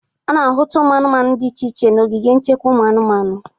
A na-ahụta ụmụ anụmanụ dị iche iche n'ogige ichekwa ụmụ anụmanụ.